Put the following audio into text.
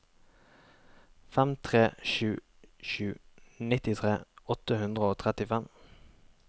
fem tre sju sju nittitre åtte hundre og trettifem